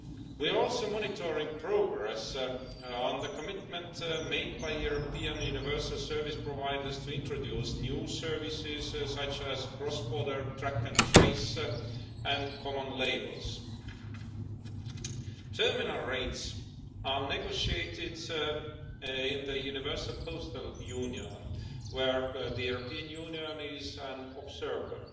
We are also monitoring progress on the commitments made by European universal service providers to introduce new services, such as cross border track and trace and common labels. Terminal rates are negotiated in the Universal Postal Union, where the European Union is an observer.